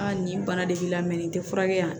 nin bana de b'i la nin tɛ furakɛ yan